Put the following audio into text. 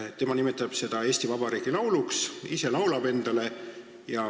Ta nimetab seda Eesti Vabariigi lauluks, ise laulab seda endale.